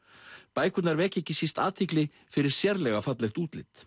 bækurnar vekja ekki síst athygli fyrir sérlega fallegt útlit